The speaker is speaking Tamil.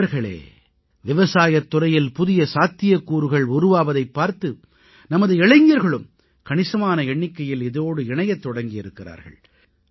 நண்பர்களே விவசாயத் துறையில் புதிய சாத்தியக்கூறுகள் உருவாவதைப் பார்த்து நமது இளைஞர்களும் கணிசமான எண்ணிக்கையில் இதோடு இணையத் தொடங்கி இருக்கிறார்கள்